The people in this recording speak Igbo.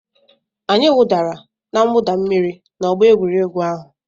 Anyị wụdara na mwụda mmiri n'ọgbọ egwuregwu ahụ.